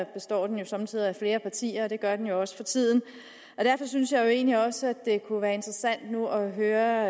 består den somme tider af flere partier og det gør den jo også for tiden derfor synes jeg egentlig også at det kunne være interessant nu at høre